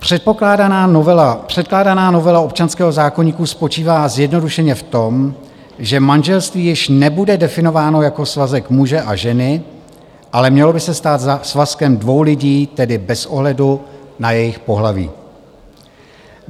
Předkládaná novela občanského zákoníku spočívá zjednodušeně v tom, že manželství již nebude definováno jako svazek muže a ženy, ale mělo by se stát svazkem dvou lidí, tedy bez ohledu na jejich pohlaví.